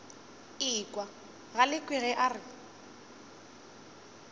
ekwa galekwe ge a re